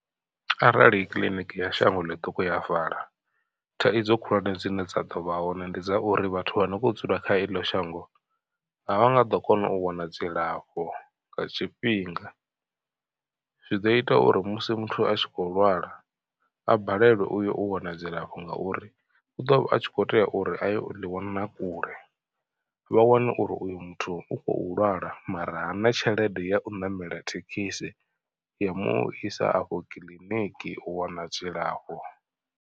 Arali kiḽiniki ya shango ḽiṱuku ya vala thaidzo khulwane dzine dza ḓo vha hone ndi dza uri vhathu vha ne vho dzula kha eḽo shango. A vha nga ḓo kona u wana dzilafho nga tshifhinga, zwi ḓo ita uri musi muthu a tshi kho lwala a balelwe uyo u wana dzilafho ngauri u ḓo vha a tshi kho tea uri a ye u ḽi wana kule. Vha wane uri uyo muthu u khou lwala mara hana tshelede ya u ṋamela thekhisi ya umu isa afho kiḽiniki u wana dzilafho.